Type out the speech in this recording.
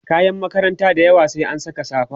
kayan makaranta dayawa sai an Saka safa